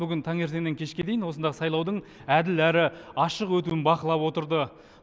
бүгін таңертеңнен кешке дейін осында сайлаудың әділ әрі ашық өтуін бақылап отырды